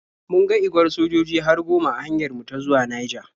Mun ga igwar sojoji har goma a hanyar mu ta zuwa Naija.